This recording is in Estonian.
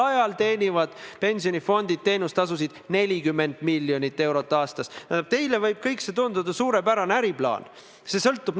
Ma ütleks selle viimase punkti kohta veel seda – kui me eile arutasime, siis tollel hetkel seda infot majanduskomisjonis ei olnud –, et abistajateenust on lihtsam korraldada ootesaaliga platvormil.